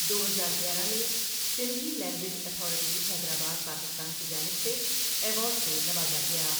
دو ہزار گیارہ میں سندھی لینگویج اتھارٹی حیدرآباد پاکستان کی جانب سے ایوارڈ سے نوازا گیا۔